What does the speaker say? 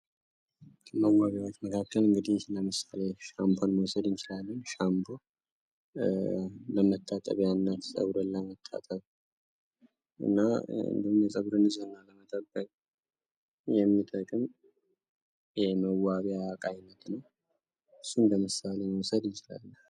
ከመዋቢያወች መካከል ለምሳሌ ሻምፖን መዉሰድ እንችላለን። ሻምፖ ለመታጠቢያነት ፀጉርን ለመታጠብ እና የፀጉርን ንፅህና ለመጠበቅ የሚጠቅም የመዋቢያ እቃ አይነት ነዉ። እሱን እንደምሳሌ መዉሰድ እንችላለን።